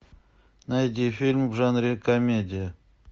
найди фильм в жанре комедия